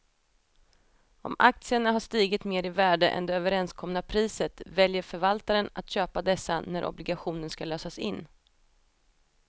Om aktierna har stigit mer i värde än det överenskomna priset väljer förvaltaren att köpa dessa när obligationen ska lösas in.